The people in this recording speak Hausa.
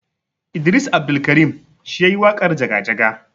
Idris Abdulkarim shi yayi waƙarJaga jaga.